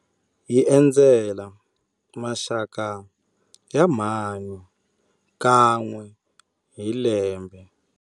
Hi endzela maxaka ya mhani kan'we hi lembe.